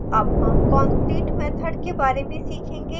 अब हम concrete method के बारे में सीखेंगे